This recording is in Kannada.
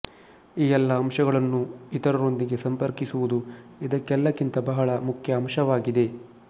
ಈ ಎಲ್ಲ ಅಂಶಗಳನ್ನೂ ಇತರರೊಂದಿಗೆ ಸಂಪರ್ಕಿಸುವುದು ಇದೆಲ್ಲಕ್ಕಿಂತ ಬಹಳ ಮುಖ್ಯ ಅಂಶವಾಗಿದೆ